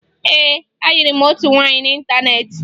Ee, ayịrị m otu nwaanyị n'ịntaneetị